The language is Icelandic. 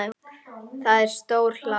Það er stór hlaða.